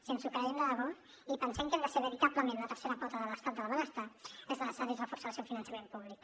si ens ho creiem de debò i pensem que hem de ser veritablement la tercera pota de l’estat del benestar és necessari reforçar ne el finançament públic